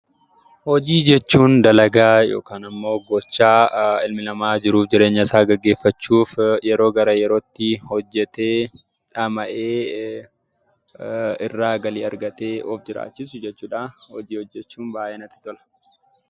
Hojii jechuun dalagaa yookaan immoo gochaa ilmi namaa jiruu fi jireenya isaa gaggeeffachuuf yeroo gara yerootti hojjatee dhama'ee irraa galii argatee jiraachisu jechuudha. Hojii hojjachuu baay'een jaalladha.